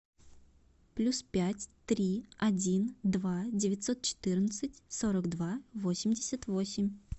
плюс пять три один два девятьсот четырнадцать сорок два восемьдесят восемь